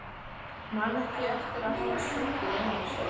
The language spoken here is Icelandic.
Man ekki eftir að hafa stungið neinu á sig.